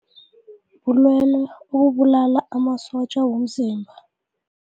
Bulwelwe obubulala amasotja womzimba.